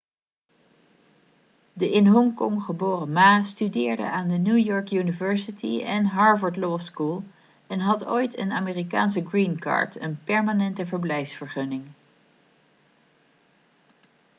de in hongkong geboren ma studeerde aan de new york university en harvard law school en had ooit een amerikaanse green card' een permanente verblijfsvergunning